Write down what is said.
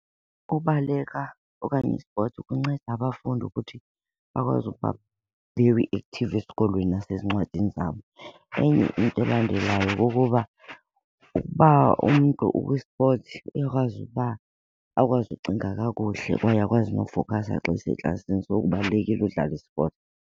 Ukubaleka okanye i-sports kunceda abafundi ukuthi bakwazi ukuba very active esikolweni nasezincwadini zabo. Enye into elandelayo kukuba ukuba umntu ukwi-sports uyakwazi uba akwazi ukucinga kakuhle kwaye akwazi nokufokhasa xa eseklasini, so kubalulekile udlala i-sport.